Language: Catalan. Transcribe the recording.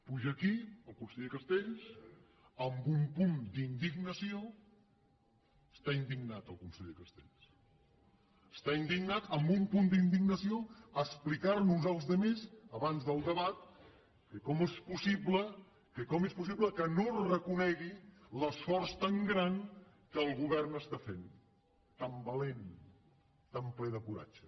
puja aquí el conseller castells amb un punt d’indignació està indignat el conseller castells està indignat a explicar nos als altres abans del debat que com és possible que no es reconegui l’esforç tan gran que el govern està fent tan valent tan ple de coratge